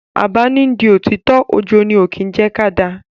Àbá ni n di òtítọ́, ojo ni ó kín jẹ́ ká da.